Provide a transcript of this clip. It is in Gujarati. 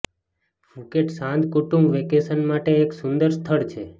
ફુકેટ શાંત કુટુંબ વેકેશન માટે એક સુંદર સ્થળ છે